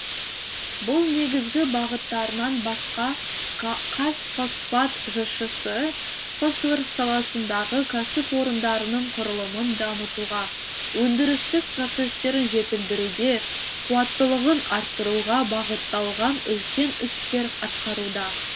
бұл негізгі бағыттарынан басқа қазфосфат жшс і фосфор саласындағы кәсіпорындардың құрылымын дамытуға өндірістік процестерін жетілдіруге қуаттылығын арттыруға бағытталған үлкен істер атқаруда